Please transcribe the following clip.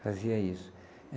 Fazia isso.